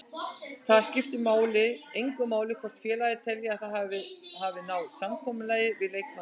Þá skiptir engu máli hvort félagið telji að það hafi náð samkomulagi við leikmanninn.